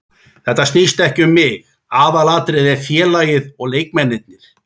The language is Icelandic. Þetta snýst ekki um mig, aðalatriðið er félagið og leikmennirnir.